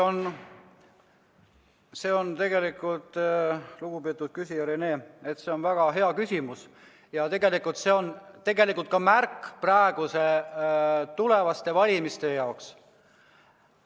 See on, lugupeetud küsija Rene, väga hea küsimus ja tegelikult ka märk tulevaste valimiste jaoks.